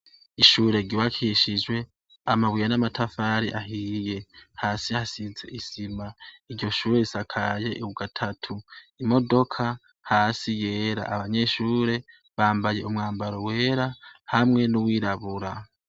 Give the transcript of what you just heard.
Ishure ryubakishije amabuye n'amatafari ahiye hasi hasize isima iryo shure risakaye gatatu imodoka hasi yera abanyeshure bambaye umwambaro wera hamwe n'uwirabura.